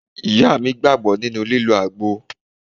Ìyá mi gbàgbọ́ nínú lílọ àgbo.